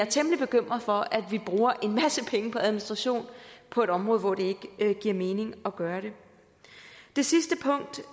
temmelig bekymret for at vi bruger en masse penge på administration på et område hvor det ikke giver mening at gøre det det sidste punkt